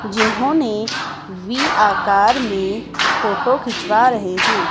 जिन्होंने वि आकार में फोटो खिंचवा रहे हैं।